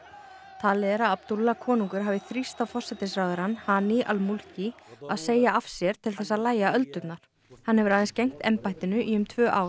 talið er að konungur hafi þrýst á forsætisráðherrann hani Al Mulki að segja af sér til þess að lægja öldurnar hann hefur aðeins gegnt embættinu í um tvö ár